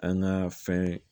An ka fɛn